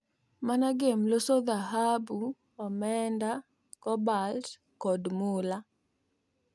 MANAGEM loso dhahabu, omenda, cobalt kod mula